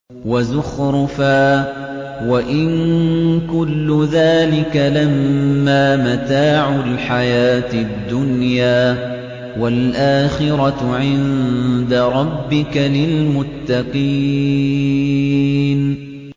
وَزُخْرُفًا ۚ وَإِن كُلُّ ذَٰلِكَ لَمَّا مَتَاعُ الْحَيَاةِ الدُّنْيَا ۚ وَالْآخِرَةُ عِندَ رَبِّكَ لِلْمُتَّقِينَ